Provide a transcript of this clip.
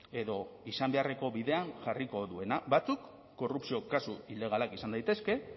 edo izan beharreko bidean jarriko duena batzuk korrupzio kasu ilegalak izan daitezke